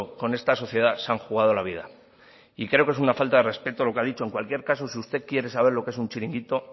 con esta sociedad se han jugado la vida y creo que es una falta de respeto lo que ha dicho en cualquier caso si usted quiere saber lo que es un chiringuito